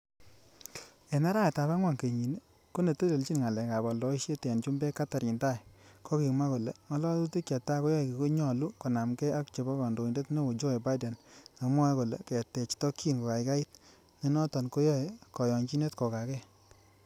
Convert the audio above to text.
En araweet ab angwan kenyini, konetelechi ngalek ab oldoisiet en chumbek, Katherine Tai, kokimwa kole ngololutik cheta keyoe konyolu konamgee ak chebo kandoindet neo Joe Biden, nemwoe kole ketech tokyin kogaigait, nenoton koyoe konyonyinet kogagee.